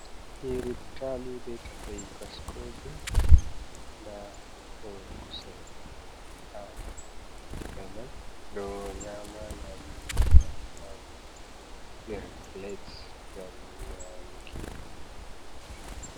Nyiributali be takai baskoje, da hore kusel ha takai mai do nyama dadum do ha nder plates gam nyamuki.